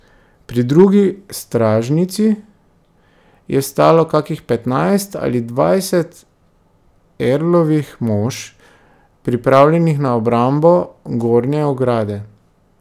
Pri drugi stražnici je stalo kakih petnajst ali dvajset earlovih mož, pripravljenih na obrambo gornje ograde.